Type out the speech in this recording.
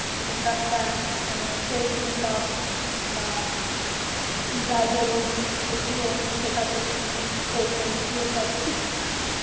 makeup টা মানে self makeup বা bridal এইগুলো সেখাতে উম কর~ মানে এইগুলো সব শিকচি